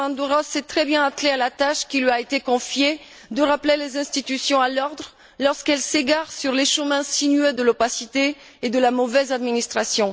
Diamandouros s'est très bien attelé à la tâche qui lui a été confiée de rappeler les institutions à l'ordre lorsqu'elles s'égarent sur le chemin sinueux de l'opacité et de la mauvaise administration.